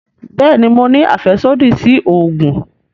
Bẹẹni, Mo ní afẹsodi si oogun